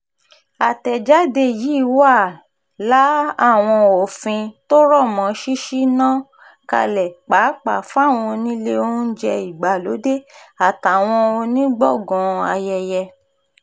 àtẹ̀jáde yìí wàá la àwọn òfin tó rọ̀ mọ́ ṣíṣí náà kalẹ̀ pàápàá fáwọn onílé oúnjẹ ìgbàlódé àtàwọn onígbọ̀ngàn ayẹyẹ